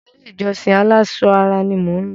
Ilé-ìjọsìn aláṣọ ara ni mò ń lọ.